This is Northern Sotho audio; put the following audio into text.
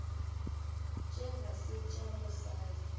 tše ga se tša mosadi